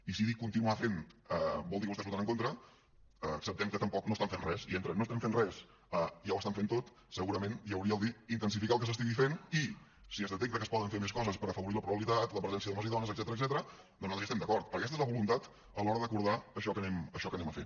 i si dic continuar fent vol dir que vostès hi votaran en contra acceptem que tampoc no estan fent res i entre no estem fent res i ja ho estan fent tot segurament hi hauria dir intensificar el que s’estigui fent i si es detecta que es poden fer més coses per afavorir la pluralitat la presència d’homes i dones etcètera nosaltres hi estem d’acord perquè aquesta és la voluntat a l’hora d’acordar això que anem a fer